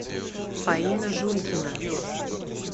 фаина жулькина